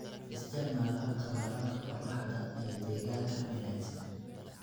Isticmaal habka waraabka qorraxda ee deegaanka u wanaagsan.